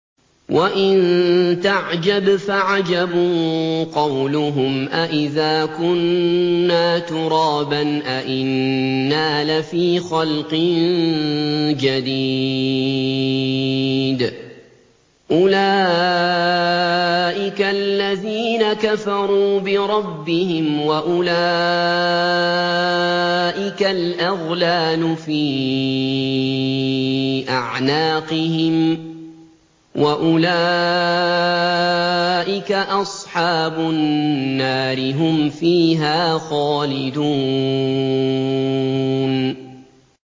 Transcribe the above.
۞ وَإِن تَعْجَبْ فَعَجَبٌ قَوْلُهُمْ أَإِذَا كُنَّا تُرَابًا أَإِنَّا لَفِي خَلْقٍ جَدِيدٍ ۗ أُولَٰئِكَ الَّذِينَ كَفَرُوا بِرَبِّهِمْ ۖ وَأُولَٰئِكَ الْأَغْلَالُ فِي أَعْنَاقِهِمْ ۖ وَأُولَٰئِكَ أَصْحَابُ النَّارِ ۖ هُمْ فِيهَا خَالِدُونَ